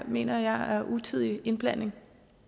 mener jeg er utidig indblanding